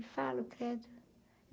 Eu falo credo.